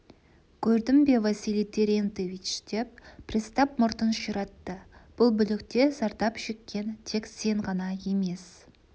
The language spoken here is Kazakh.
көрдің бе василий терентьевич деп пристав мұртын ширатты бұл бүлікте зардап шеккен тек сен ғана емес